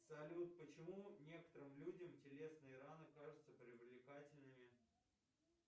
салют почему некоторым людям телесные раны кажутся привлекательными